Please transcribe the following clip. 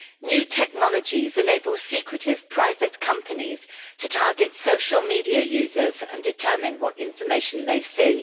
New technologies enable secretive, private companies to target social media users and determine what information they see.